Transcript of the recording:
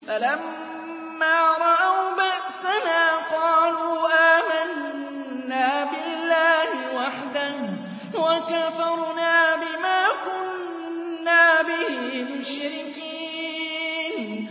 فَلَمَّا رَأَوْا بَأْسَنَا قَالُوا آمَنَّا بِاللَّهِ وَحْدَهُ وَكَفَرْنَا بِمَا كُنَّا بِهِ مُشْرِكِينَ